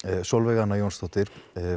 Sólveig Anna Jónsdóttir